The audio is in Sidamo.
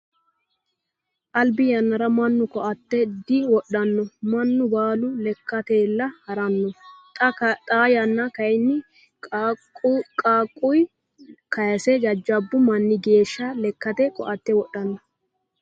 Albi yannara mannu koatte diwodhano. Mannu baalu lekkateyiilla haranno. Xa yanna kayiinni qaaqquyi kayiise jajjabu manni geeshsha lekkate koatte wodhanno.